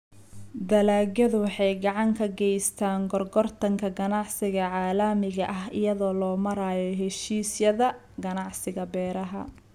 Dalagyadu waxay gacan ka geystaan ??gorgortanka ganacsiga caalamiga ah iyada oo loo marayo heshiisyada ganacsiga beeraha.